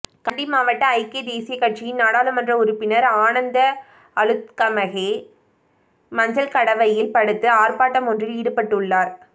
கண்டி மாவட்ட ஐக்கிய தேசிய கட்சியின் நாடாளுமன்ற உறுப்பினர் ஆனந்த அளுத்கமகே மஞ்சள் கடவையில் படுத்து ஆர்பாட்டமொன்றில் ஈடுபட்டுள்ளார்